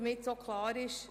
Damit es klar ist: